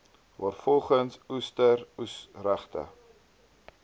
waarvolgens oester oesregte